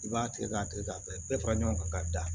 I b'a tigɛ k'a tigɛ k'a bɛɛ bɛɛ fara ɲɔgɔn kan ka da